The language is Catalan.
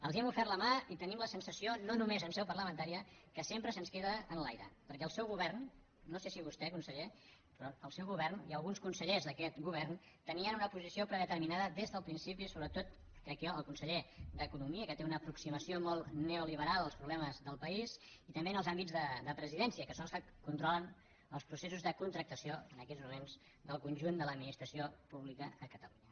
els hem ofert la mà i tenim la sensació no només en seu parlamentària que sempre se’ns queda enlaire perquè el seu govern no sé si vostè conseller i alguns consellers d’aquest govern tenien una posició predeterminada des del principi sobretot crec jo el conseller d’economia que té una aproximació molt neoliberal als problemes del país i també en els àmbits de presidència que són els que controlen els processos de contractació en aquests moments del conjunt de l’administració pública a catalunya